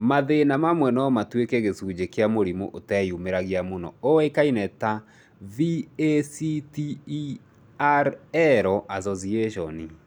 Mathĩna mamwe no matuĩke gĩcunjĩ kĩa mũrimũ ũteyumĩragia mũno ũĩkaine ta VACTERL association.